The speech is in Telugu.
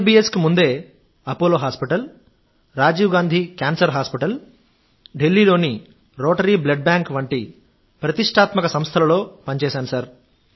ఐఎల్బిఎస్కు ముందే Apollo hospital Rajiv Gandhi cancer hospital Delhi లోని రోటరీ బ్లడ్ బ్యాంక్ వంటి ప్రతిష్టాత్మక సంస్థలలో పనిచేశాను